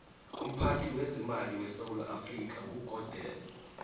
umphathi wezemali wesewula africa nqugodeni